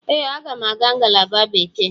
Ee, m ga-aga ngalaba Bekee.